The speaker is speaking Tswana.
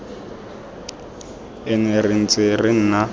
ene re ntse re nna